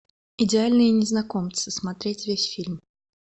идеальные незнакомцы смотреть весь фильм